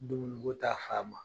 Dumuni ko ta fa ma